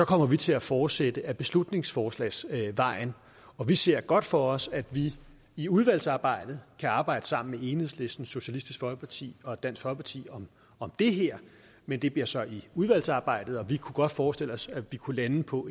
kommer vi til at fortsætte ad beslutningsforslagsvejen og vi ser godt for os at vi i udvalgsarbejdet kan arbejde sammen med enhedslisten socialistisk folkeparti og dansk folkeparti om det her men det bliver så i udvalgsarbejdet vi kunne godt forestille os at vi kunne lande på